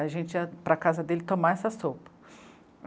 A gente ia para casa dele tomar essa sopa.